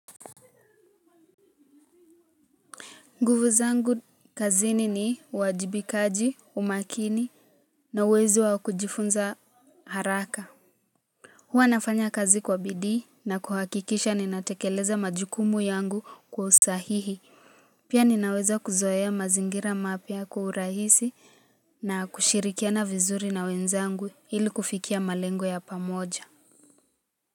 Nguvu zangu kazini ni uwajibikaji umakini na uwezo wa kujifunza haraka. Huwa nafanya kazi kwa bidii na kuhakikisha ninatekeleza majukumu yangu kwa usahihi. Pia ninaweza kuzoea mazingira mapya kwa urahisi na kushirikiana vizuri na wenzangu ili kufikia malengo ya pamoja.